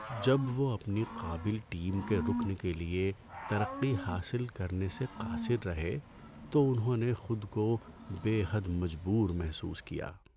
‏جب وہ اپنی قابل ٹیم کے رکن کے لیے ترقی حاصل کرنے سے قاصر رہے تو انہوں نے خود کو بے حد مجبور محسوس کیا۔